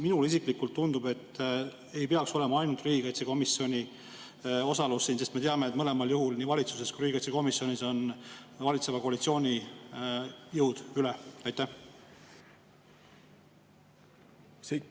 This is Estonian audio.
Minule isiklikult tundub, et siin ei peaks olema ainult riigikaitsekomisjoni osalus, sest me teame, et mõlemas, nii valitsuses kui ka riigikaitsekomisjonis, on valitseva koalitsiooni jõud üle.